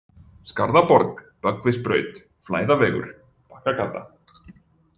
Skarðaborg, Böggvisbraut, Flæðavegur, Bakkagata